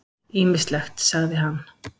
Ýmislegt, sagði hann.